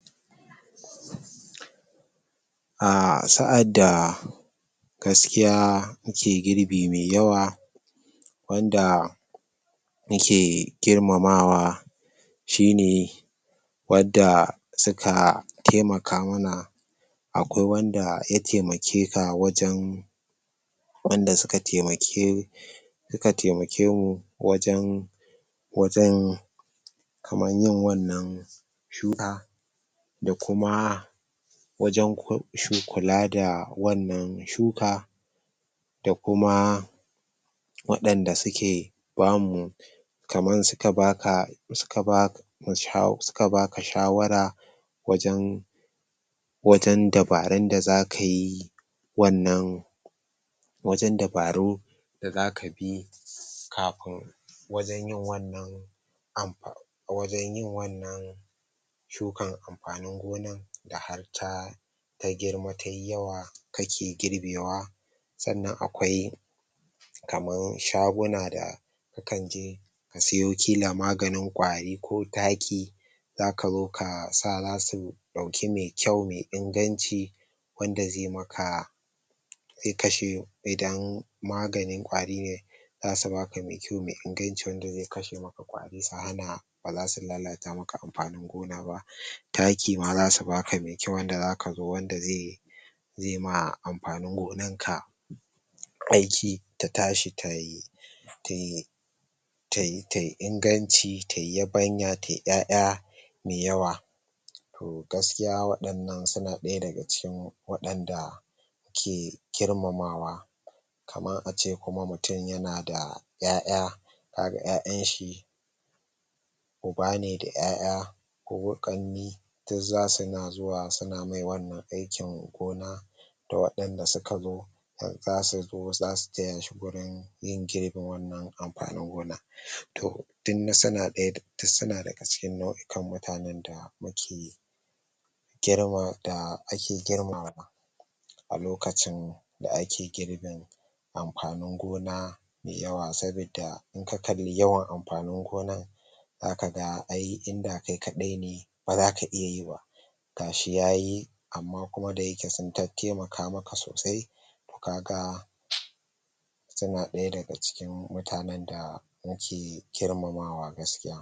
Ahh Sa’adda gaskiya mu ke girbi mai yawa wanda mu ke girmamawa shine wanda suka taimaka mana akwai wanda ya taimake ka wajen wanda suka taimake mu su ka taimake mu wajen wajen kaman yin wannan shuka da kuma wajen kula ko ince da wannan shuka da kuma waɗanda suke bamu kaman suka baka suka ba da sa suka baka shawara wajen wajen dabaran da zaka yi wannan wajen dabarun da zaka bi kafin wajen yin wannan wajen yin wannan shukan amfanin gonan da har ta ta girma tayi yawa kake girbewa sannan akwai kaman shaguna da ka kanje ka siye kila maganin kwari ko taki zaka zo ka sa wa su dauki me kyau me inganci wanda zai yi maka zai kashe idan maganin kwari ne ne zasu baka me kyau me inganci wanda zai kashe maka kwari su hana baza su lalata maka amfanin gona ba taki ma zasu baka me kyau wanda zaka zo wanda zai zai ma amfanin gonan ka aiki ta tashi tayi tayi tayi inganci ta yi yabanya ta yi yaya me yawa Toh Gaskiya waɗannan suna daya daga cikin waɗanda ke girmamawa kaman ace mutum kuma yana da ya'ya a ga ya'yan shi ubane da ya'ya ko ƙannai duk zasu na zuwa suna mai wannan aikin gona waɗanda suka zo zasu zo zasu taya shi wurin yin girbe wannan amfanin gonan toh duk suna daga cikin nau’ikan mutanen da mu ke girma da ake girmawa a lokacin da ake girbin amfanin gona me yawa sabida in ka kalli yawan amfanin gonan zaka ga ai inda kai kadai ne ba zaka iya yi ba gashi yayi amma kuma da yake su tatattaimaka sosai toh kaga suna daya daga cikin mutanen da muke girmamawa gaskiya